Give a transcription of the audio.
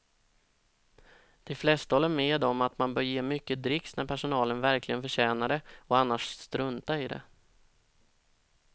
De flesta håller med om att man bör ge mycket dricks när personalen verkligen förtjänar det och annars strunta i det.